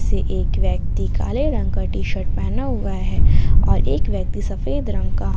से एक व्यक्ति काले रंग का टी शर्ट पहना हुआ है और एक व्यक्ति सफेद रंग का।